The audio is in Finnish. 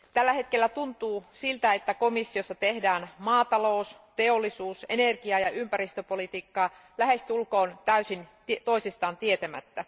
Tällä hetkellä tuntuu siltä, että komissiossa tehdään maatalous teollisuus energia ja ympäristöpolitiikkaa lähestulkoon täysin toisistaan tietämättä.